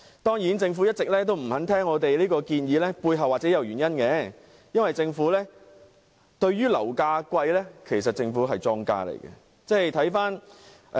當然，政府一直沒有聽取我們這項建議，背後的原因或許是因為政府其實是樓價高企的莊家。